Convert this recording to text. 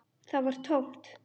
Það var tómt.